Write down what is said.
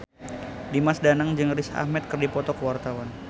Dimas Danang jeung Riz Ahmed keur dipoto ku wartawan